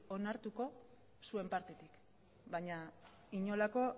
onartuko zuen partetik baina inolako